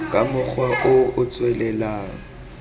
ka mokgwa o o tswelelang